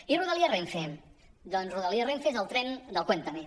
i rodalia renfe doncs rodalia renfe és el tren del cuéntame